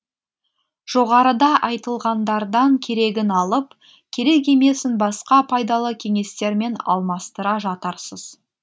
жоғарыда айтылғандардан керегін алып керек емесін басқа пайдалы кеңестермен алмастыра жатарсыз